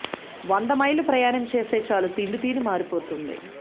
వంద మైళ్లు ప్రయాణం చేస్తే చాలు తిండి తీరు మారిపోతుంది